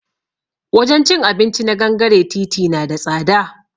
Wajen cin abinci na gangare titi na da tsada